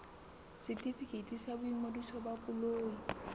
setefikeiti sa boingodiso ba koloi